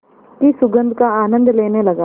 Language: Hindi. की सुगंध का आनंद लेने लगा